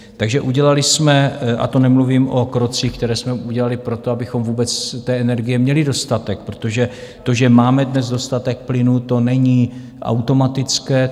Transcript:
Takže udělali jsme - a to nemluvím o krocích, které jsme udělali pro to, abychom vůbec té energie měli dostatek, protože to, že máme dnes dostatek plynu, to není automatické.